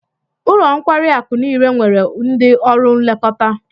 Ụlọ nkwari akụ niile nwere ndị ọrụ nlekọta